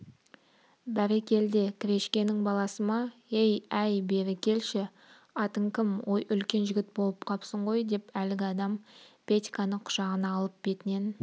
бәрекелде крешкенің баласы ма-ей әй бері келші атың кім ой үлкен жігіт боп қапсың ғой деп әлгі адам петьканы құшағына алып бетінен